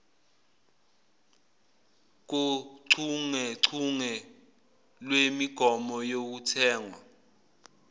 kochungechunge lwemigomo yokuthengwa